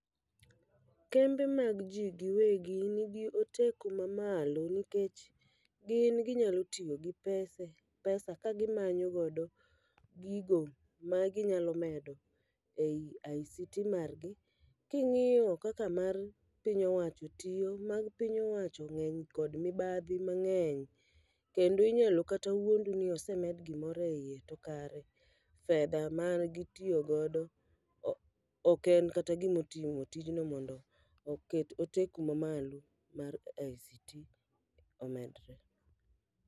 Kembe mag ji giwegi nigi oteku ma malo nikech gin ginyalo tiyo gi pese, pesa ka gimanyo godo gigo ma ginyalo medo ei ICT margi. King'iyo kaka mar piny owacho tiyo, mar piny owacho nigi mibadhi mang'eny. Kendo inyalo kata wuondu ni osemed gimoro e iye, to kare fedha man gitiyo godo o ok en kata gimo timo tijno mondo oket oteku ma malo mar ICT omedre.